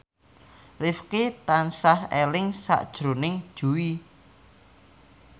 Rifqi tansah eling sakjroning Jui